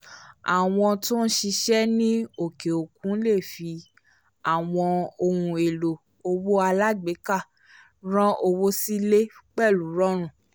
àwọn tó ñ ṣiṣẹ́ ní òkè òkun le fi àwọn ohun èlò owó alágbèéká rán owó sí ilé pẹ̀lú rọrùn